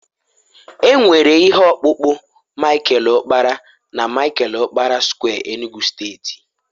e nwere ihe ọkpụkpụ Michael okpara na Michael okpara square Enugu steeti